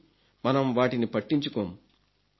కానీ మనం వాటిని పట్టించుకోం